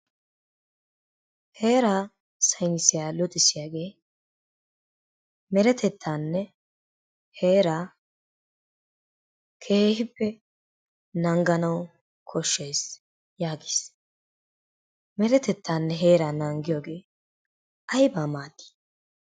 Heeraa saynisiyaa luxissiyaage deretettaanne heeraa keehippe nangganawu koshshees yaagiis. Deretettaanne heeraa nanagiyoogee aybaa maaddi?